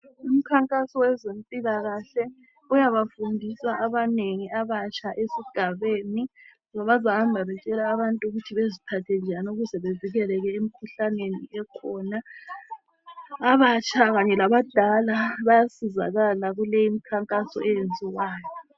Imikhankaso wezempilakahle uyabafundisa abanengi abatsha ezigabeni ngoba bahamba betshela abantu ukuthi beziphathe njani ukuze bazivikele emikhuhlaneni ekhona abatsha kanye labadala bayasizakala kule imikhankaso eyenziwayo.